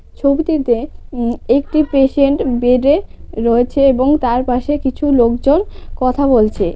ছবিটিতে উম একটি পেশেন্ট বেডে রয়েছে এবং তার পাশে কিছু লোকজন কথা বলছে।